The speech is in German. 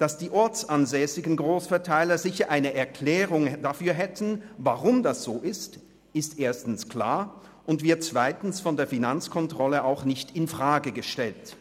Dass die ortsansässigen Grossverteiler sicher eine Erklärung dafür hätten, warum das so ist, ist erstens klar und wird zweitens von der Finanzkontrolle auch nicht infrage gestellt.